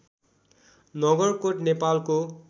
नगरकोट नेपालको